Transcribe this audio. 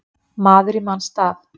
Maður í manns stað